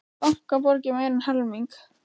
Bankar borgi meira en helming